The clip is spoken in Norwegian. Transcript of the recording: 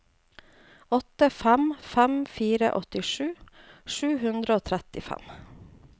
åtte fem fem fire åttisju sju hundre og trettifem